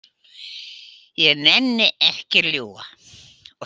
Ég nenni ekki að ljúga.